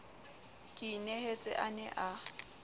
ke inehetse a ne a